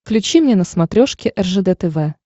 включи мне на смотрешке ржд тв